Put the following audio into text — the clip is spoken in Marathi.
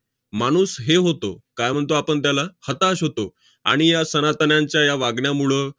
माणूस हे होतो, काय म्हणतो आपण त्याला? हताश होतो. आणि या सनातन्यांच्या या वागण्यामुळं